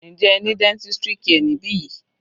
Njẹ́ ẹ ní dentistry care níbi yìí?